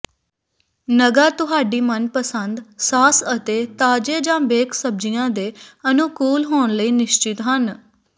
ਨਗਾਂ ਤੁਹਾਡੀ ਮਨਪਸੰਦ ਸਾਸ ਅਤੇ ਤਾਜ਼ੇ ਜਾਂ ਬੇਕ ਸਬਜ਼ੀਆਂ ਦੇ ਅਨੁਕੂਲ ਹੋਣ ਲਈ ਨਿਸ਼ਚਿਤ ਹਨ